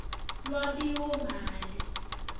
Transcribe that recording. lwabiwomali